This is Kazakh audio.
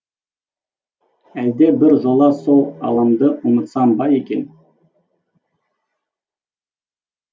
әлде бір жолы сол адамды ұмытсам ба екен